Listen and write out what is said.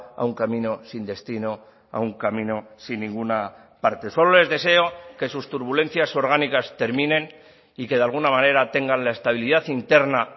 a un camino sin destino a un camino sin ninguna parte solo les deseo que sus turbulencias orgánicas terminen y que de alguna manera tengan la estabilidad interna